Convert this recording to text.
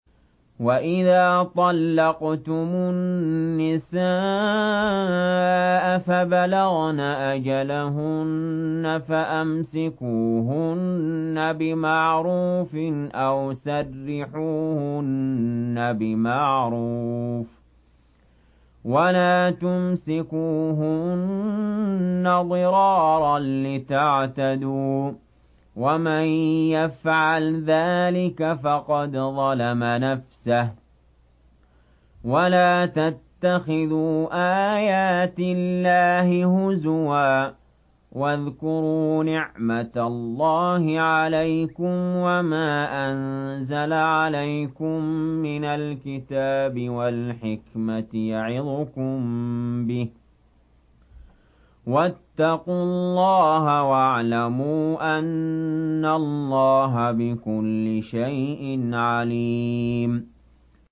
وَإِذَا طَلَّقْتُمُ النِّسَاءَ فَبَلَغْنَ أَجَلَهُنَّ فَأَمْسِكُوهُنَّ بِمَعْرُوفٍ أَوْ سَرِّحُوهُنَّ بِمَعْرُوفٍ ۚ وَلَا تُمْسِكُوهُنَّ ضِرَارًا لِّتَعْتَدُوا ۚ وَمَن يَفْعَلْ ذَٰلِكَ فَقَدْ ظَلَمَ نَفْسَهُ ۚ وَلَا تَتَّخِذُوا آيَاتِ اللَّهِ هُزُوًا ۚ وَاذْكُرُوا نِعْمَتَ اللَّهِ عَلَيْكُمْ وَمَا أَنزَلَ عَلَيْكُم مِّنَ الْكِتَابِ وَالْحِكْمَةِ يَعِظُكُم بِهِ ۚ وَاتَّقُوا اللَّهَ وَاعْلَمُوا أَنَّ اللَّهَ بِكُلِّ شَيْءٍ عَلِيمٌ